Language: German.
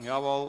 – Jawohl.